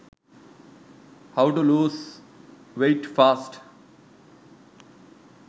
how to lose weight fast